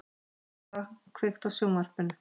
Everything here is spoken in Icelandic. Svala, kveiktu á sjónvarpinu.